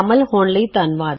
ਸ਼ਾਮਲ ਹੋਣ ਲਈ ਧੰਨਵਾਦ